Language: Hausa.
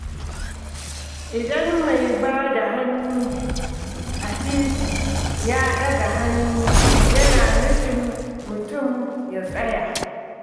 Idan mai ba da hannu a titi ya ɗaga hannu yana nufin mutum ya tsaya